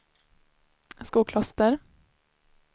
Skokloster